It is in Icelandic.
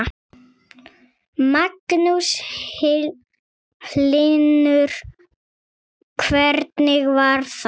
Magnús Hlynur: Hvernig var það?